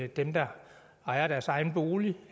dem der ejer deres egen bolig